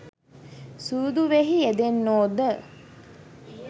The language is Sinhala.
සූදුවෙහි යෙදෙන්නෝ ද